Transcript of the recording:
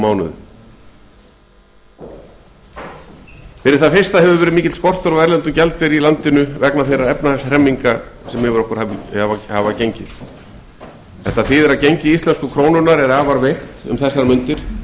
mánuðum fyrir það fyrsta hefur verið mikill skortur á erlendum gjaldeyri í landinu vegna þeirra efnahagshremminga sem yfir okkur hafa gengið þetta þýðir að gengi íslensku krónunnar er afar veikt